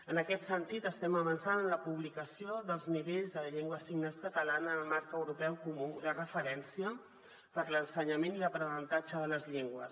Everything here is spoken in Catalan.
en aquest sentit estem avançant en la publicació dels nivells de la llengua de signes catalana en el marc europeu comú de referència per a l’ensenyament i l’aprenentatge de les llengües